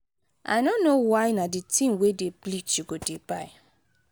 i no know why na the thing wey dey bleach you go dey buy.